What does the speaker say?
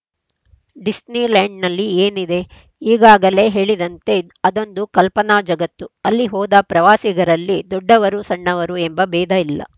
ಡಿಸ್ನಿಲ್ಯಾಂಡ್‌ನಲ್ಲಿ ಏನಿದೆ ಈಗಾಗಲೇ ಹೇಳಿದಂತೆ ಅದೊಂದು ಕಲ್ಪನಾ ಜಗತ್ತು ಅಲ್ಲಿ ಹೋದ ಪ್ರವಾಸಿಗರಲ್ಲಿ ದೊಡ್ಡವರು ಸಣ್ಣವರು ಎಂಬ ಭೇದ ಇಲ್ಲ